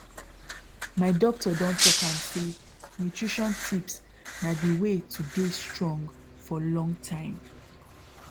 my doctor don talk am say nutrition tips na dey way to dey strong for long time